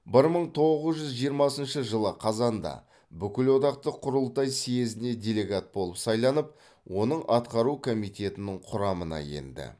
бір мың тоғыз жүз жиырмасыншы жылы қазанда бүкілодақтық құрылтай съезіне делегат болып сайланып оның атқару комитетінің құрамына енді